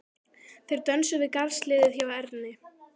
Þeir stönsuðu við garðshliðið hjá Erni.